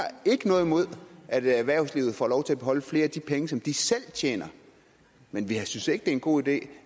ikke noget imod at erhvervslivet får lov til at beholde flere af de penge som de selv tjener men vi synes ikke det er en god idé